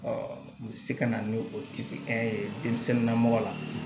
u bɛ se ka na ni o lamɔgɔ la